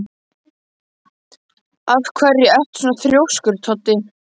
Af hverju ertu svona þrjóskur, Toddi?